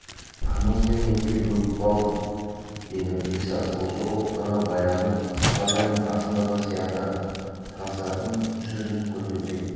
қымыз бен етке бөгіп болдық деді пристав осы ұлықтарға баяғы сыпатайдың асындағы сияқты таздардың сүзісін көрсетсек